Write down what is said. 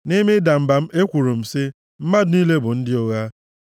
nʼime ịda mba m, ekwuru m sị, “Mmadụ niile bụ ndị ụgha.”